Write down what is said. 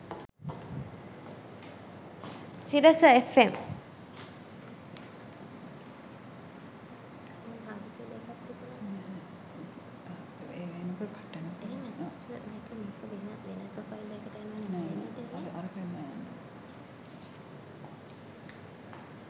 sirasafm